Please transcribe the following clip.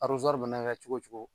mana kɛ cogo wo cogo.